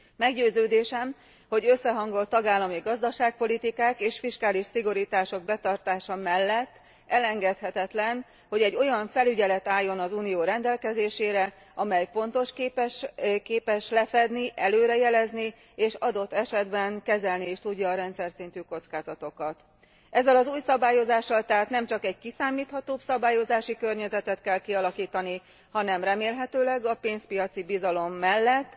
Meggyőződésem, hogy összehangolt tagállami gazdaságpolitikák és fiskális szigorítások betartása mellett elengedhetetlen, hogy egy olyan felügyelet álljon az Unió rendelkezésére, amely pontos, képes lefedni, előre jelezni, és adott esetben kezelni is tudja a rendszerszintű kockázatokat. Ezzel az új szabályozással tehát nemcsak egy kiszámíthatóbb szabályozási környezetet kell kialakítani, hanem remélhetőleg a pénzpiaci bizalom mellett